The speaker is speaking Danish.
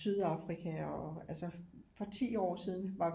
Sydafrika og altså for 10 år siden var